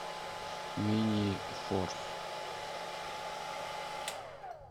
минифорс